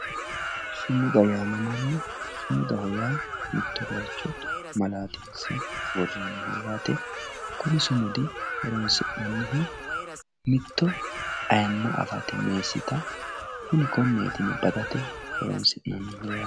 sumuda yaamamanno sumuda yaa mitto bayiicho malaatinse worroonniho yaate kuni sumudi horonsi'nannihu mitto ayiimma afate meessita konneeti yine badate horonsi'nanniho yaate.